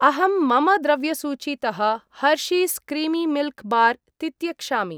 अहं मम द्रव्यसूचीतः हर्शीस् क्रीमि मिल्क् बार् तित्यक्षामि।